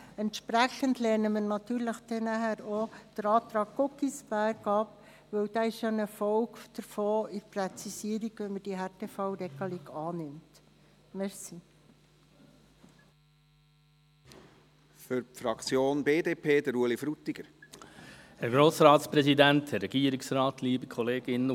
Entsprechend lehnen wir nachher auch den Antrag Guggisberg ab, weil dieser eine Folge davon ist, eine Präzisierung, wenn diese Härtefallregelung angenommen würde.